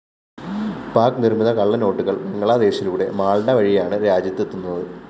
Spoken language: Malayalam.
പാക്ക്‌ നിര്‍മ്മിത കള്ളനോട്ടുകള്‍ ബംഗ്ലാദേശിലൂടെ മാള്‍ഡ വഴിയാണ് രാജ്യത്തെത്തുന്നത്